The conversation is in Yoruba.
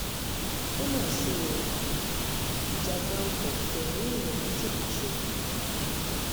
ó mà ṣe o ìjàgbá ọkọ fẹ̀mí èèyàn méjìlá ṣòfò